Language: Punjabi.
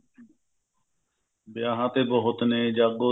ਵਿਆਹਾਂ ਤੇ ਬਹੁਤ ਨੇ ਜਾਗੋ